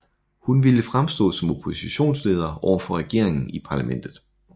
Hun ville fremstå som oppositionsleder overfor regeringen i parlamentet